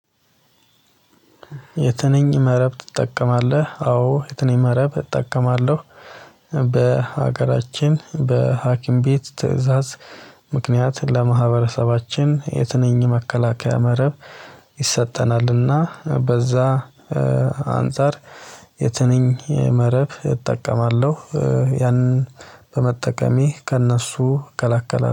የትንኝ መረብ ትጠቀማለህ? አዎ የትኝ መረብ እጠቀማለሁ። በሀገራችን በሀኪም ቤት ትእዛዝ። ምክንያት ለማህበረሰባችን የትንኝ መከላከያ መረብ። ይሰጠናልና በዛ አንፃር። የትንኝ መረብ እጠቀማለሁ። ያንን በመጠቀሜ ከእነሱ እከላከላለው